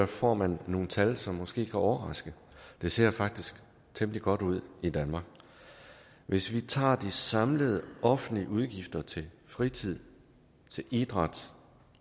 får man nogle tal som måske kan overraske det ser faktisk temmelig godt ud i danmark hvis vi tager de samlede offentlige udgifter til fritid til idræt